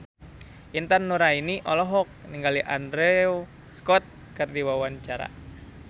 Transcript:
Intan Nuraini olohok ningali Andrew Scott keur diwawancara